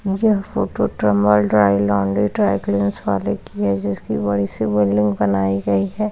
मुझे photo tumble dry laundry dry cleaners वाले की है जिसकी बड़ी सी बिल्डिंग बनाई गई है ।